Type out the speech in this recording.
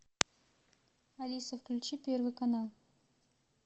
алиса включи первый канал